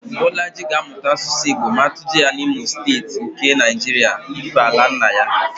Bọlaji ga-amụta Asụsụ Igbo ma atụje ya n'Imo Steeti nke Naịjiria ífé ala nna ya